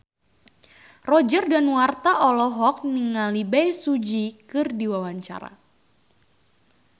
Roger Danuarta olohok ningali Bae Su Ji keur diwawancara